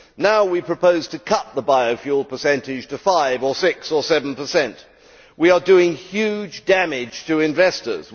Now, we propose to cut the biofuel percentage to 5 or 6 or 7. We are doing huge damage to investors.